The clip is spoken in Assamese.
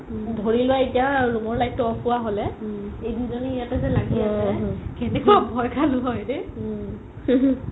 ধৰি লোৱা এতিয়া room ৰ light তো off হুৱা হ'লে এই দুজনি ইয়াতে যে লাগি আছে কেনেকুৱা ভই খালো হয় ৰে